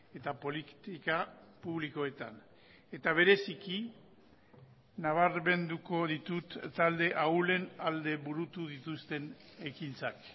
eta politika publikoetan eta bereziki nabarmenduko ditut talde ahulen alde burutu dituzten ekintzak